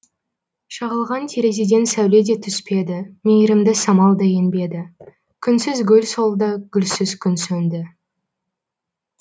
шағылған терезеден сәуле де түспеді мейірімді самал да енбеді күнсіз гүл солды гүлсіз күн сөнді